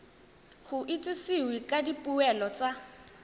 go itsisiwe ka dipoelo tsa